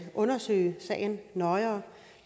undersøge sagen nøjere